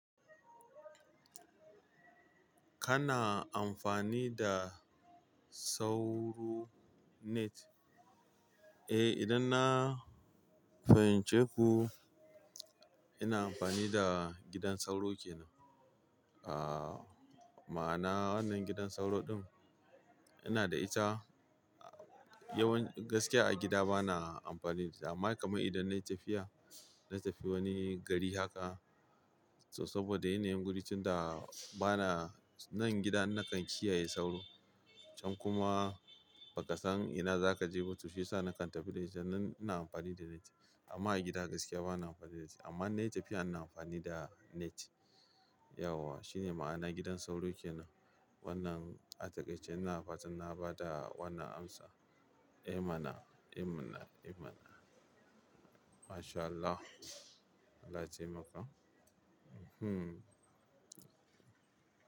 Kana amfani da sauro net? Eh, idan na fahimce ku ina amfani da gidan sauro ke nan. Ah, ma'ana wannan gidan sauro ɗin ina da ita. Yawanci gaskiya a gida bana amfani da, amma kamar idan na yi tafiya, na tafi wani gari haka, to saboda yanayin wurin tunda bana nan gida nakan kiyaye sauro can kuma ba ka san ina za ka je ba, to shiyasa nakan tafi da ita. Nan ina amfani da net, amma a gida gaskiya bana amfani da net. Amma inna yi tafiya ina amfani da net. Yauwa shine ma'ana gidan sauro kenan. Wannan a takaice ina fatan na ba da wannan amsa. Eh mana, eh mana, eh mana. Mashallah. Allah ya taimaka. Hmm.